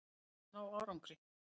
Þorið að ná árangri.